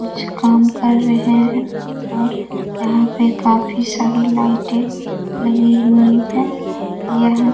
कुछ काम कर रहे हैं और यहाँ पे काफी सारे लाइटे लगी हुई है यह --